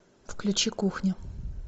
включи кухня